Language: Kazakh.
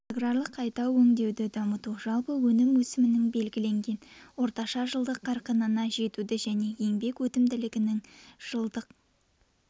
аграрлық қайта өңдеуді дамыту жалпы өнім өсімінің белгіленген орташа жылдық қарқынына жетуді және еңбек өнімділігінің жылдың